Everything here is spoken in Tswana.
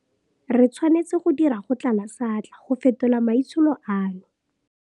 Re tshwanetse go dira go tlala seatla go fetola maitsholo ano.